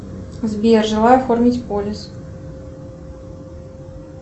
сбер желаю оформить полис